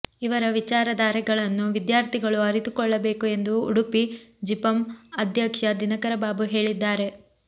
ಇವರ ವಿಚಾರಧಾರೆಗಳನ್ನು ವಿದ್ಯಾರ್ಥಿಗಳು ಅರಿತುಕೊಳ್ಳಬೇಕು ಎಂದು ಉಡುಪಿ ಜಿಪಂ ಅಧ್ಯಕ್ಷ ದಿನಕರ ಬಾಬು ಹೇಳಿದ್ದಾರೆ